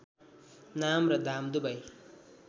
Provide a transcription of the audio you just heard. नाम र दाम दुवै